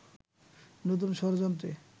নতুন ষড়যন্ত্রে